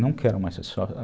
Não quero mais ser